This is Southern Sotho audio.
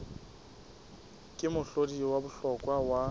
ke mohlodi wa bohlokwa wa